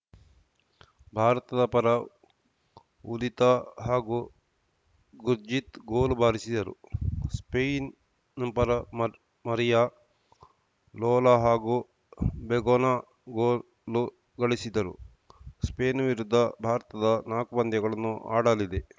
ಭಾರತದ ಪರ ಉದಿತಾ ಹಾಗೂ ಗುರ್ಜೀತ್‌ ಗೋಲು ಬಾರಿಸಿದರು ಸ್ಪೇನ್‌ ಪರ ಮರಿಯಾ ಲೋಲಾ ಹಾಗೂ ಬೆಗೊನಾ ಗೋಲು ಗಳಿಸಿದರು ಸ್ಪೇನ್‌ ವಿರುದ್ಧ ಭಾರತದ ನಾಲ್ಕು ಪಂದ್ಯಗಳನ್ನು ಆಡಲಿದೆ